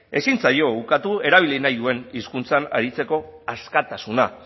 ezin zaio ukatu erabili nahi duen hizkuntzan aritzeko askatasuna